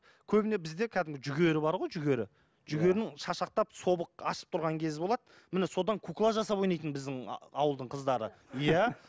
көбіне бізде кәдімгі жүгері бар ғой жүгері жүгерінің шашақтап собық ашып тұрған кезі болады міне содан кукла жасап ойнайтын біздің ауылдың қыздары иә